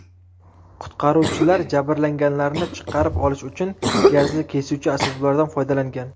Qutqaruvchilar jabrlanganlarni chiqarib olish uchun gazli kesuvchi asboblardan foydalangan.